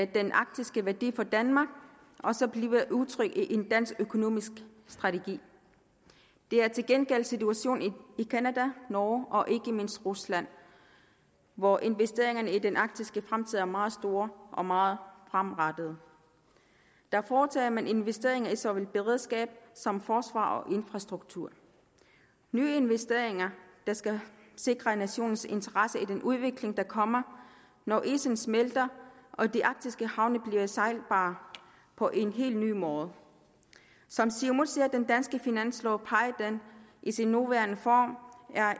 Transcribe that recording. den arktiske værdi for danmark også bliver udtrykt i en dansk økonomisk strategi det er til gengæld situationen i canada norge og ikke mindst rusland hvor investeringerne i den arktiske fremtid er meget store og meget fremadrettede der foretager man investeringer i såvel beredskab som forsvar og infrastruktur nye investeringer der skal sikre nationernes interesser i den udvikling der kommer når isen smelter og de arktiske havne bliver sejlbare på en helt ny måde som siumut ser den danske finanslov peger den i sin nuværende form